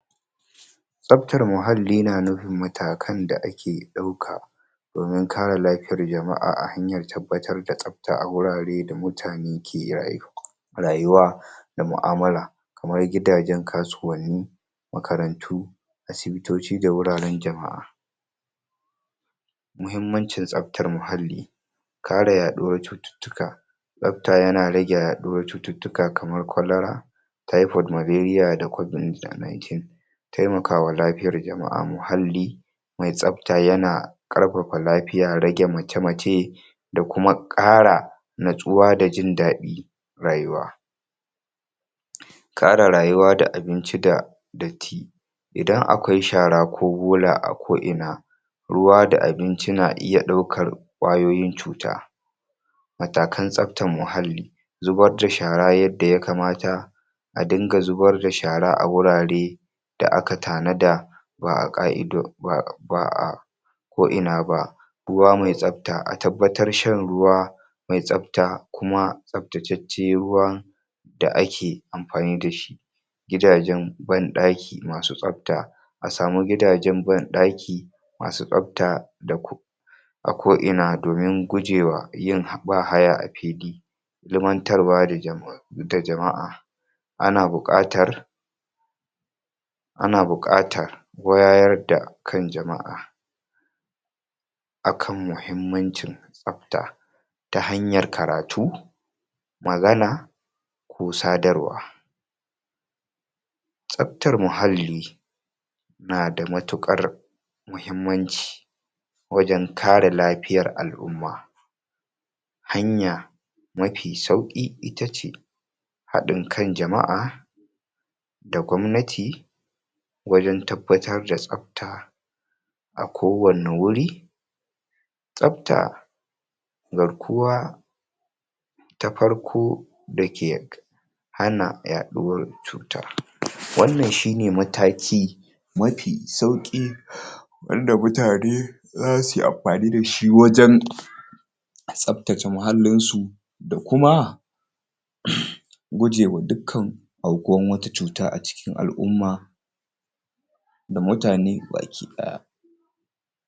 Tsabtar muhalli na nufin matakan da ake ɗauka domin kare ;lafoiyar jama'a a hanyar tabbatar da tsabta a wurare da mutane ike iya rayuwa da mu'amulla, kamar gidajen kasuwanni, makarantu, asibitoci da wuraren jama'a. Muhimmancin tsabtar muhalli, kare yaɗuwar cututtuka, Tsabta yana rage yaɗuwar cututtuka kamar kwalera, Typhoid, Malaria da Covid-19. Taimakawa lafiyar jama'a a muhalli, mai tsabta yana ƙarfafa rage mace-mace, da kuma ƙara, natsuwa da jin daɗin rayuwa. kare rayuwa da abinci da datti idan akwai shara ko bola a ko'ina ruwa da abinci na iya ɗaukar ƙwayoyin cuta. Matakan Tsabtan muhalli. Zubar da shara yadda ya kamata, a dinga zubar da shara a wurare da aka tanada ba a ka'ido, ba'a ba a ko'ina ba. Ruwa mai Tsabta, a tabbatar shan ruwa mai tsabta kuma tsabtacce ruwa da ake amfani da shi. Gidajen ban ɗaki masu tsabta, A samu gidajen banɗaki masu tsabta da ku a ko'ina domin guje yin bahaya a fili. ilimantarwa da jama'a ana buƙatar ana buƙatar wayar da kan jama'a akan muhimmancin tsabta ta hanyar karatu, magana, ko sadarwa. Tsabtar muhalli, na da matuƙar muhimmanci wajen kare lafiyar al'umma, hanya, mafi sauƙi itace haɗin kan jama'a, da gwamnati, wajen tabbatar da tsabta a kowanne wuri Tsabta, garkuwa ta farko da ke hana yaɗuwar cuta, wannan shine mataki, mafi sauƙi wanda mutane za su yi amfani da shi wajen tsabtace muhallinsu da kuma gujewa dukan aukuwan wata cuta a cikin al'umma da mutane baki ahh